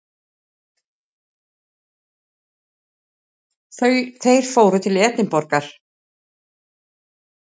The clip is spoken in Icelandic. Þeir fóru til Edinborgar.